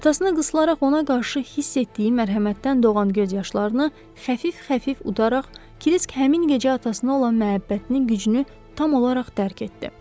Atasına qısıraq ona qarşı hiss etdiyi mərhəmətdən doğan göz yaşlarını xəfif-xəfif udaraq, Krisk həmin gecə atasına olan məhəbbətinin gücünü tam olaraq dərk etdi.